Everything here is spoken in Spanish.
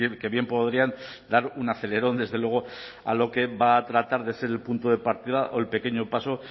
que bien podrían dar un acelerón desde luego a lo que va a tratar de ser el punto de partida o el pequeño paso